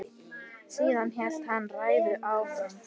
Síðan hélt hann ræðunni áfram